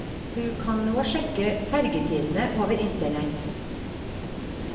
Du kan nå sjekke fergetidene over internett.